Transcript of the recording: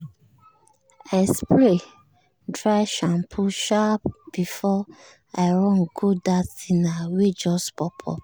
i spray dry shampoo sharp before i run go that dinner wey just pop up.